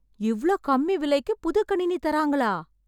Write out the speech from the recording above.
இவ்வளோ கம்மி விளைக்கு புது கணினி தரங்களா!